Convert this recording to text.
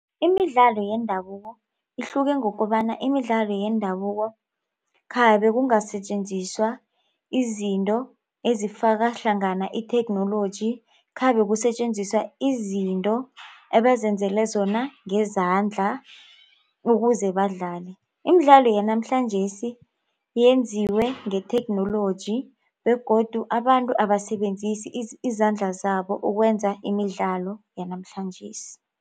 Imidlalo yendabuko ihluke ngokobana imidlalo yendabuko khabe kungasetjenziswa izinto ezifakahlangana itheknoloji khabe kusetjenziswa izinto ebezenzele zona ngezandla ukuze badlale. Imidlalo yanamhlanjesi yenziwe ngetheknoloji begodu abantu abasebenzisi izandla zabo ukwenza imidlalo yanamhlanjesi.